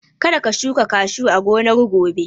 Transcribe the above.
Ka da ka shuka kashu a gonar gobe!